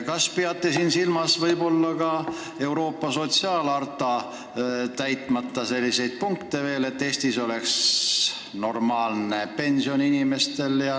Kas te peate siin silmas ka Euroopa sotsiaalharta meil veel täitmata punkte, näiteks seda, et Eesti inimestel oleks normaalne pension?